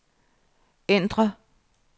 ændr